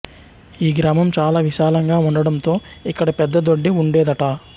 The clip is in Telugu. ఈ గ్రామం చాలా విశాళంగా ఉండడంతో ఇక్కడ పెద్ద దొడ్డి ఉండేదట